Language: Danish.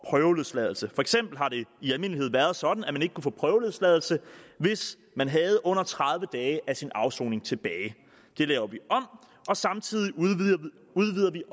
prøveløsladelse for eksempel har det i almindelighed været sådan at man ikke kunne få prøveløsladelse hvis man havde under tredive dage af sin afsoning tilbage det laver vi om og samtidig udvider vi